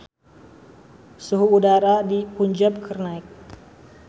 Suhu udara di Punjab keur naek